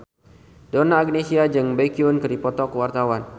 Donna Agnesia jeung Baekhyun keur dipoto ku wartawan